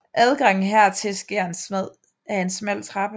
Adgangen hertil sker ad en smal trappe